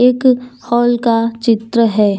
एक हॉल का चित्र है।